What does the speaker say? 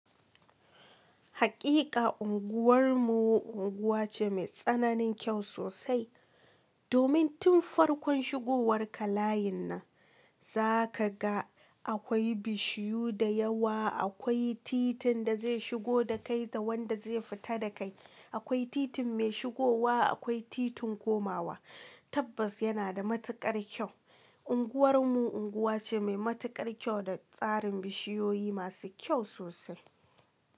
Hakika unguwar mu unguwa ce mai tsananin kyau sosai. Domin tun farkon shigowar ka layin nan za ka ga akwai bishiyu da yawa, akwai titin da zai shigo da kai da wanda zai fita da kai. Akwai titin mai shigowa, akwai titin komawa. Tabbas yana da matukar kyau. Unguwar mu unguwa ce mai matukar kyau da tsarin bishiyoyi masu kyau sosai.